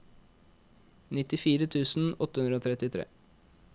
nittifire tusen åtte hundre og trettitre